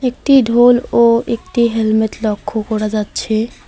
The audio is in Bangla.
একটি ঢোল ও একটি হেলমেট লক্ষ করা যাচ্ছে।